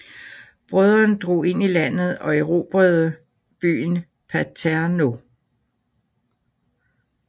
Brødrene drog ind i landet og erbrede byen Paternó